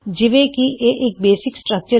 ਜਿਵੇਂ ਵੀ ਇਹ ਇੱਕ ਬੇਸਿਕ ਸਟਰੱਕਚਰ ਹੈ